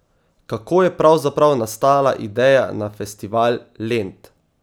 Kako je pravzaprav nastala ideja na Festival Lent?